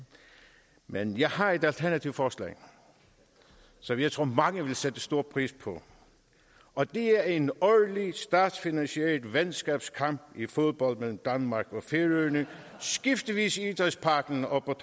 men jeg har et alternativt forslag som jeg tror mange vil sætte stor pris på og det er en årlig statsfinansieret venskabskamp i fodbold mellem danmark og færøerne skiftevis i idrætsparken og på